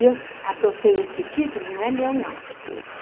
E eu adotei esse título, não é meu, não.